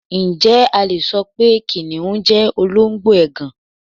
Ǹjẹ́ a le so pé kìnnìún jẹ́ olóńgbò ègàn?